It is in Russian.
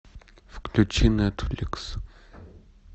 включи нетфликс